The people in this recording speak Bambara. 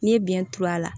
N'i ye biyɛn turu a la